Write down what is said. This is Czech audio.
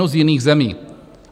No, z jiných zemí.